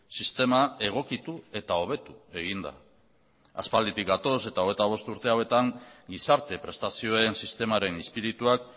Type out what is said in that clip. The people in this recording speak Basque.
sistema egokitu eta hobetu egin da aspalditik gatoz eta hogeita bost urte hauetan gizarte prestazioen sistemaren izpirituak